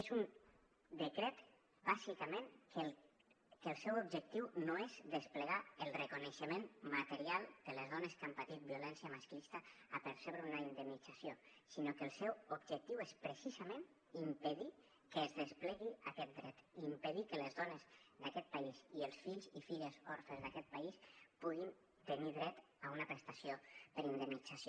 és un decret bàsicament que el seu objectiu no és desplegar el reconeixement material de les dones que han patit violència masclista a percebre una indemnització sinó que el seu objectiu és precisament impedir que es desplegui aquest dret i impedir que les dones d’aquest país i els fills i filles orfes d’aquest país puguin tenir dret a una prestació per indemnització